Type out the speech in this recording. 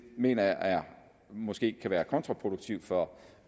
mener jeg måske kan være kontraproduktivt for